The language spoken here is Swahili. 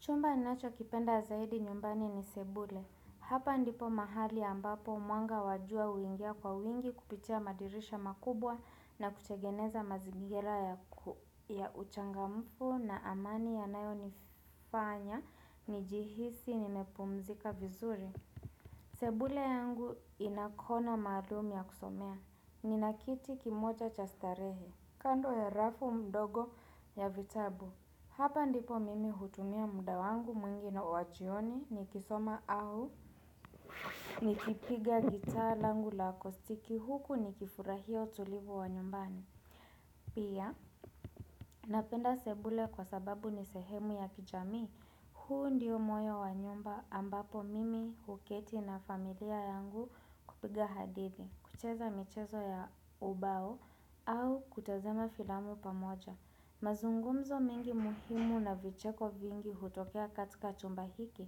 Chumba ninacho kipenda zaidi nyumbani ni sebule. Hapa ndipo mahali ambapo mwanga wajua huingia kwa wingi kupitia madirisha makubwa na kutegeneza mazingira ya uchangamfu na amani ya nayo nifanya, nijihisi, nimepumzika vizuri. Sebule yangu inakona maalum ya kusomea. Ninakiti kimoja chastarehe. Kando ya rafu mdogo ya vitabu. Hapa ndipo mimi hutumia muda wangu mwingi na wajioni ni kisoma au ni kipiga gitaa langu la kostiki huku ni kifurahia utulivu wa nyumbani. Pia, napenda sebule kwa sababu ni sehemu ya kijamii, huu ndiyo moyo wa nyumba ambapo mimi huketi na familia yangu kupiga hadithi, kucheza michezo ya ubao au kutazama filamu pamoja. Mazungumzo mingi muhimu na vicheko vingi hutokea katika chumba hiki